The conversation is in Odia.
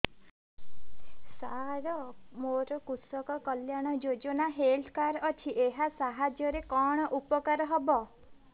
ସାର ମୋର କୃଷକ କଲ୍ୟାଣ ଯୋଜନା ହେଲ୍ଥ କାର୍ଡ ଅଛି ଏହା ସାହାଯ୍ୟ ରେ କଣ ଉପକାର ହବ